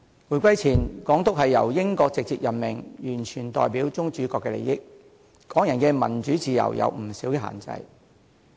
回歸前，港督由英國直接任命，完全代表宗主國的利益，對港人的民主自由有不少限制。